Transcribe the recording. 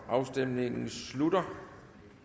afstemningen slutter